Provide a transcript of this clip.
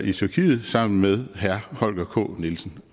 i tyrkiet sammen med herre holger k nielsen